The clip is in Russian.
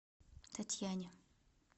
татьяне